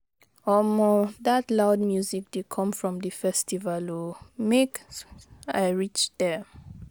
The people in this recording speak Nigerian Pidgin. Omo dat loud music dey come from di festival o, make I reach there.